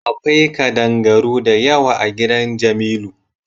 Akwai kaɗangaru da yawa a gidan jamilu.